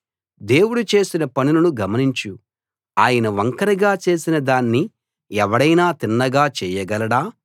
దేవుడు చేసిన పనులను గమనించు ఆయన వంకరగా చేసినదాన్ని ఎవడైనా తిన్నగా చేయగలడా